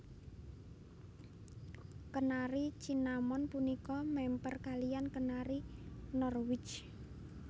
Kenari Cinnamon punika mèmper kaliyan Kenari Norwich